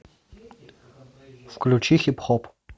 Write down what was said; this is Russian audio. включи хип хоп